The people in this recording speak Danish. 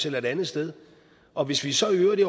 eller et andet sted og hvis vi så i øvrigt i